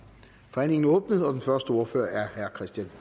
forhandlingen er åbnet og den første ordfører er herre kristian